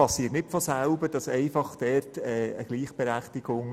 In solchen Gremien entsteht nicht einfach von selber eine Gleichberechtigung.